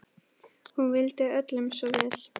Hún vildi öllum svo vel.